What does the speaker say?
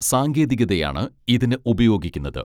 സാങ്കേതികതയാണ് ഇതിന് ഉപയോഗിക്കുന്നത്